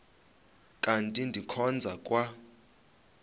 kanti ndikhonza kwa